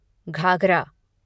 Ghaghara